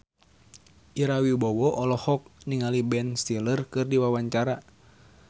Ira Wibowo olohok ningali Ben Stiller keur diwawancara